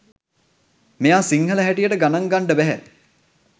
මෙයා සිංහල හැටියට ගණන් ගන්ඩ බැහැ.